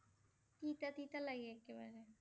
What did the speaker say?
তিতা তিতা লাগে একেবাৰে